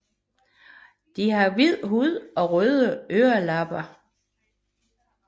De har hvid hud og røde ørelapper